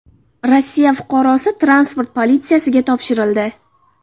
Rossiya fuqarosi transport politsiyasiga topshirildi.